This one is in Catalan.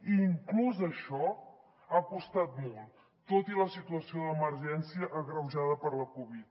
i inclús això ha costat molt tot i la situació d’emergència agreujada per la covid